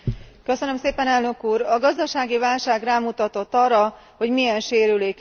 A gazdasági válság rámutatott arra, hogy milyen sérülékeny a bankrendszerünk.